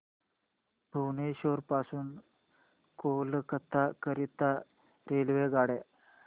भुवनेश्वर पासून कोलकाता करीता रेल्वेगाड्या